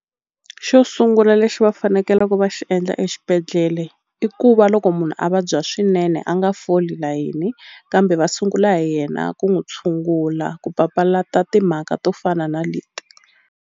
Xo sungula lexi va fanekelaku va xi endla exibedhlele i ku va loko munhu a vabya swinene a nga foli layeni kambe va sungula hi yena ku n'wi tshungula ku papalata timhaka to fana na leti.